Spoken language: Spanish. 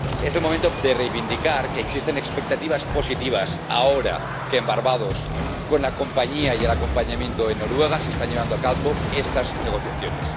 Es el momento de reivindicar que existen expectativas positivas, ahora que en Barbados, con la compañía y el acompañamiento de Noruega, se están llevando a cabo estas negociaciones.